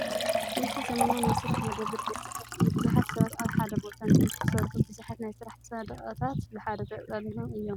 እዚ ዘመናዊ ናይ ስራሕ መደበር ቤት ጽሕፈት እዩ። ብዙሓት ሰባት ኣብ ሓደ ቦታ ምእንቲ ኺሰርሑ ብዙሓት ናይ ስራሕ ሰደቓታት ብሓደ ተጠርኒፎም እዮም።